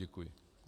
Děkuji.